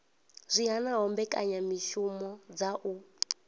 zwi hanaho mbekanyamishumo dza u